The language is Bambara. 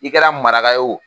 I kɛra maraka ye o